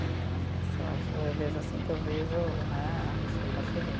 Então, eu vejo assim que eu vejo né a Michelle Bachelet.